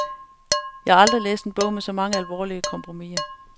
Jeg har aldrig læst en bog med så mange alvorlige, eksistentielle kompromiser.